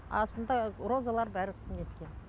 астында розалар бәрі неткен